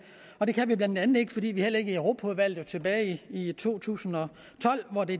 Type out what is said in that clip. og det kan vi blandt andet ikke fordi vi heller ikke i europaudvalget tilbage i to tusind og tolv hvor det